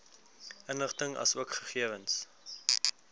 inligting asook gegewens